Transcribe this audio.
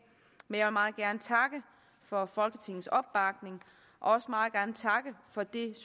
men jeg vil meget gerne takke for folketingets opbakning og også meget gerne takke for det